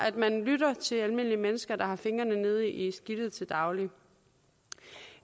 at man lytter til almindelige mennesker der har fingrene nede i skidtet til daglig